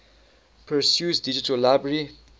perseus digital library